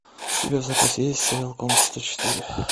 у тебя в запасе есть сериал комната сто четыре